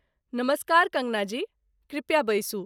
नमस्कार कङ्गना जी, कृपया बैसू।